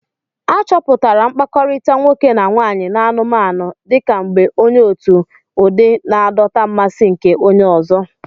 A chọpụtara mkpakọrịta nwoke na nwaanyị n'anụmanụ dị ka mgbe onye otu ụdị na-adọta mmasị nke onye ọzọ.